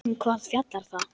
Um hvað fjallar það?